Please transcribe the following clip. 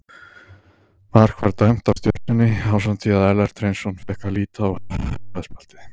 Mark var dæmt af Stjörnunni ásamt því að Ellert Hreinsson fékk að líta rauða spjaldið.